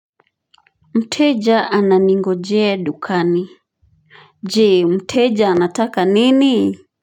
Mteja ananingojea dukani. Je mteja anataka nini?